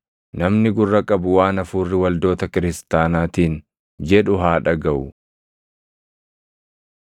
Namni gurra qabu waan Hafuurri waldoota kiristaanaatiin jedhu haa dhagaʼu.